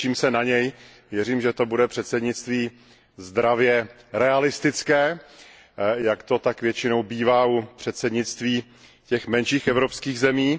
Těším se na něj, věřím, že to bude předsednictví zdravě realistické, jak to tak většinou bývá u předsednictví těch menších evropských zemí.